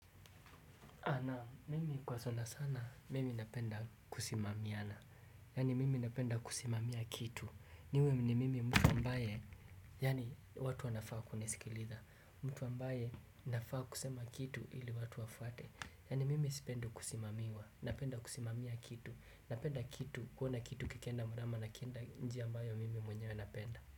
Ana, mimi kwa sana sana, mimi napenda kusimamiana, yaani mimi napenda kusimamia kitu, niwe mimi mtu ambaye, yaani watu wanafaa kuni sikiliza, mtu ambaye nafaa kusema kitu ili watu wafuate, yani mimi sipendi kusimamiwa, napenda kusimamia kitu, napenda kitu kuona kitu kikienda murama na kienda njia ambayo mimi mwenyewe napenda.